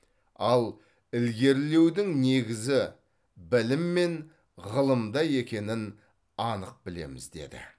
ал ілгерілеудің негізі білім мен ғылымда екенін анық білеміз деді